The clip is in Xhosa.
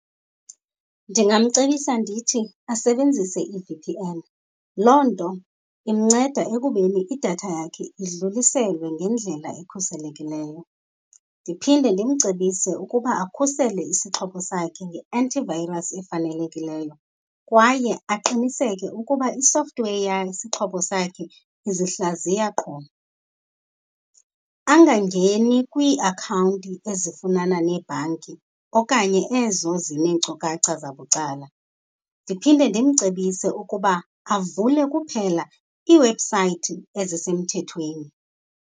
Ndingamcebisa ndithi asebenzise i-V_P_N, loo nto imnceda ekubeni idatha yakhe idluliselwe ngendlela ekhuselekileyo. Ndiphinde ndimcebise ukuba akhusele isixhobo sakhe nge-anti virus efanelekileyo kwaye aqiniseke ukuba i-software yesixhobo sakhe uzihlaziya qho. Angangeni kwiiakhawunti ezifunana neebhanki okanye ezo zineenkcukacha zabucala. Ndiphinde ndimcebise ukuba avule kuphela iiwebhusayithi ezisemthethweni.